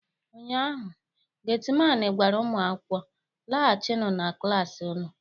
ụnyaahụ, Getiman gwara ụmụ akwụkwọ, laghachienu na klas unu!